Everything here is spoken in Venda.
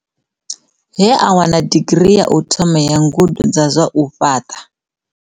He a wana digirii ya u thoma ya ngudo dza zwa u fhaṱa.